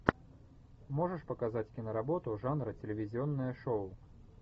можешь показать киноработу жанра телевизионное шоу